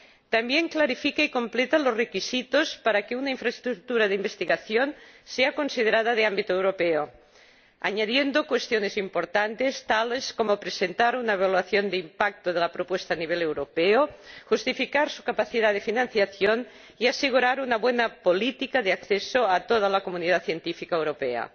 también aclara y completa los requisitos para que una infraestructura de investigación sea considerada de ámbito europeo, añadiendo cuestiones importantes, tales como presentar una evaluación de impacto de la propuesta a nivel europeo, justificar su capacidad de financiación y asegurar una buena política de acceso a toda la comunidad científica europea.